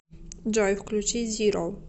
джой включи зиро